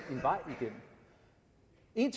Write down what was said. en